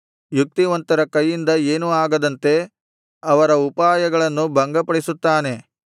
ಯುಕ್ತಿವಂತರ ಕೈಯಿಂದ ಏನೂ ಆಗದಂತೆ ಅವರ ಉಪಾಯಗಳನ್ನು ಭಂಗಪಡಿಸುತ್ತಾನೆ